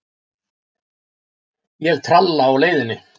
Ég tralla á leiðinni.